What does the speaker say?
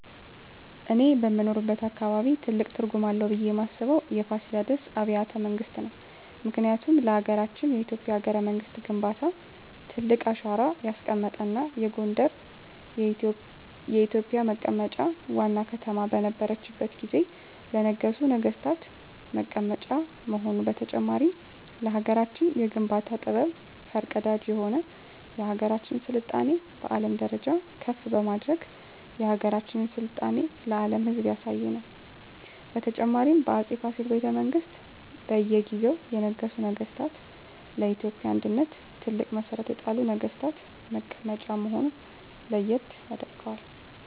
እኔ በምኖርበት አካባቢ ትልቅ ትርጉም አለው ብየ ማስበው የፋሲለደስ አቢያተ መንግስት ነው ምክንያቱም ለሀገረችን የኢትዮጵያ የሀገረ መንግስት ግንባታ ትልቅ አሻራ ያስቀመጠ እና ጎንደር የኢትዮጵ መቀመጫ ዋና ከተማ በነረችት ጊዜ ለነገሡ ነጠገስታት መቀመጫ መሆኑ በተጨማሪም ለሀገራችን የግንባታ ጥበብ ፈር ቀዳጅ የሆነ የሀገራችን ስልጣኔ በአለም ደረጃ ከፍ በማድረግ የሀገራችን ስልጣኔ ለአም ህዝብ ያሳየ ነው። በተጨማሪም በ አፄ ፋሲል ቤተመንግስት በእየ ጊዜው የነገሱ ነገስታ ለኢትዮጵያ አንድነት ትልቅ መሠረት የጣሉ ነግስታት መቀመጫ መሆነ ለየት ያደርገዋል።